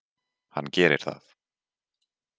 Hann gerir það.